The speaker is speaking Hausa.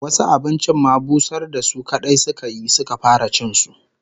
Wasu abincin ma busar da su kadai suka yi, suka fara cin su